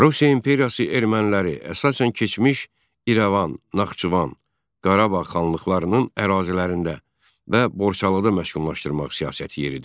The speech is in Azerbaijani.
Rusiya İmperiyası erməniləri əsasən keçmiş İrəvan, Naxçıvan, Qarabağ xanlıqlarının ərazilərində və Borçalıda məskunlaşdırmaq siyasəti yeridirdi.